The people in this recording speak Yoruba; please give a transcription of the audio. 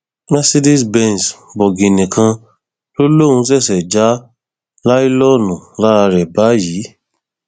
mercedez benz bọgìnnì kan ló lóun ṣẹṣẹ ja ọláìlọọnù lára ẹ báyìí